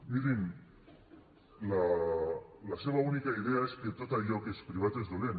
mirin la seva única idea és que tot allò que és privat és dolent